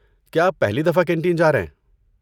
کیا آپ پہلی دفعہ کینٹین جا رہے ہیں؟